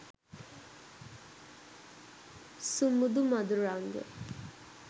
sumudu maduranga